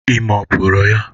Ime ọ pụrụ ya?